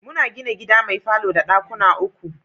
Muna gina gida mai falo da ɗakuna uku.